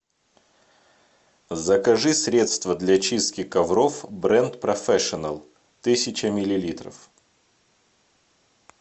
закажи средство для чистки ковров бренд профешинал тысяча миллилитров